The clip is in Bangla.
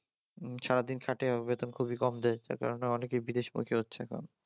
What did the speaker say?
সারাদিন খাটেও বেতন খুবই কম দেয় যার কারণে অনেকেই বিদেশ যাচ্ছে এখন